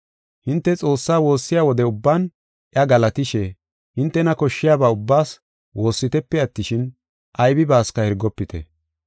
Hinte Xoossaa woossiya wode ubban iya galatishe, hintena koshshiyaba ubbaas woossitepe attishin, aybibaasika hirgofite.